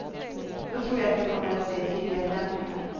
Då tror jag att vi kommer att se tydliga förändringar.